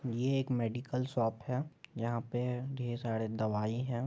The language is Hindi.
ये एक मेडिकल शॉप है जहाँ पे ढेर सारे दवाई है।